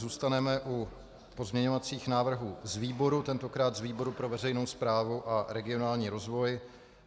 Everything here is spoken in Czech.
Zůstaneme u pozměňovacích návrhů z výborů, tentokrát z výboru pro veřejnou správu a regionální rozvoj.